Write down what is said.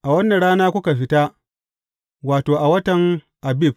A wannan rana kuka fita, wato, a watan Abib.